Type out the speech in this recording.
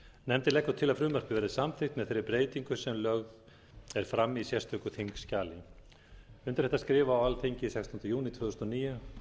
nefndin leggur til að frumvarpið verði samþykkt með þeirri breytingu sem lögð er fram í sérstöku þingskjali undir þetta skrifa á alþingi sextánda júní tvö þúsund og níu